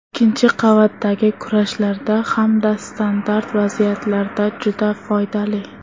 Ikkinchi qavatdagi kurashlarda hamda standart vaziyatlarda juda foydali”.